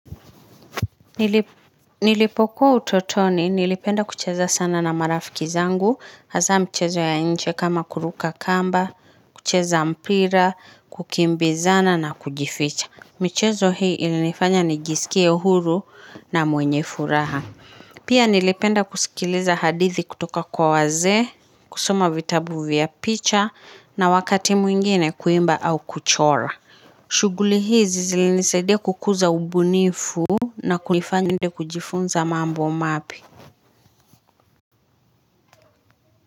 Nilipokuwa utotoni nilipenda kucheza sana na marafiki zangu hasa mchezo ya nje kama kuruka kamba kucheza mpira kukimbizana na kujificha mchezo hii ilinifanya nijisikie huru na mwenye furaha pia nilipenda kusikiliza hadithi kutoka kwa wazee kusoma vitabu vya picha na wakati mwingine kuimba au kuchora shughuli hizi zilinisaidia kukuza ubunifu na kujifunza mambo mapya.